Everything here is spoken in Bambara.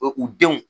u denw